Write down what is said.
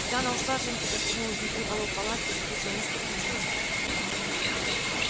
когда она ушла женька застегнул изнутри полог палатки и спросил ну что случилось то